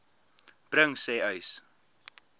bring sê uys